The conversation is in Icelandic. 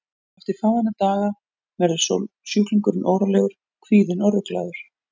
Eftir fáeina daga verður sjúklingurinn órólegur, kvíðinn og ruglaður.